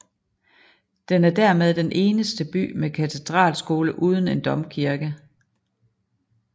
Den er dermed den eneste by med katedralskole uden en domkirke